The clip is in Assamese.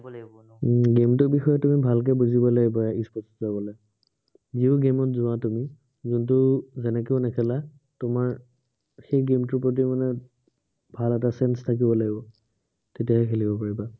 উম game টোৰ বিষয়ে তুমি ভালকে বুজিব লাগিব e-sports ত গলে। যিও game ত যোৱা তুমি। game টো যেনেকেও নেখেলা। তোমাৰ সেই game টোৰ প্ৰতি মানে ভাল এটা sense থাকিব লাগিব। তেতিয়াহে খেলিব পাৰিবা।